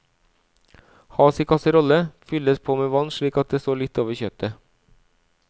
Has i kasserolle, fylles på med vann slik at det står litt over kjøttet.